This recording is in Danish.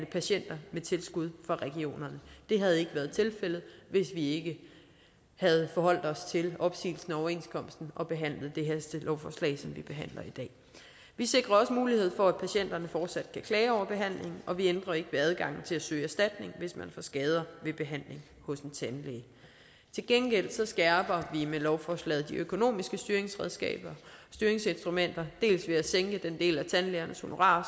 patienter med tilskud fra regionerne det havde ikke været tilfældet hvis vi ikke havde forholdt os til opsigelsen af overenskomsten og behandlet det her hastelovforslag som vi behandler i dag vi sikrer også mulighed for at patienterne fortsat kan klage over behandlingen og vi ændrer ikke ved adgangen til at søge erstatning hvis man får skader ved behandling hos en tandlæge til gengæld skærper vi med lovforslaget de økonomiske styringsinstrumenter dels ved at sænke den del af tandlægernes honorarer